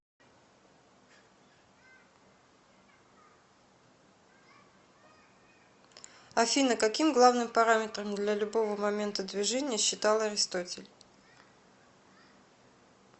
афина каким главным параметром для любого момента движения считал аристотель